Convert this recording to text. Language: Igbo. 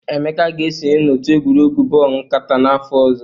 Emeka ga-esonye n'otu egwuregwu bọọlụ nkata n'afọ ọzọ.